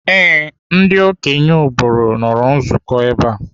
Ee, ndị okenye obodo nọrọ nzukọ ebe a.